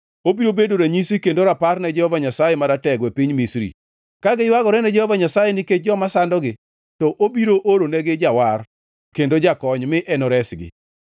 Obiro bedo ranyisi kendo rapar ne Jehova Nyasaye Maratego e piny Misri. Ka giywagore ne Jehova Nyasaye nikech joma sandogi, to obiro oronegi jawar kendo jakony, mi enoresgi.